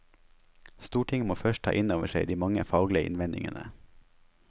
Stortinget må først ta inn over seg de mange faglige innvendingene.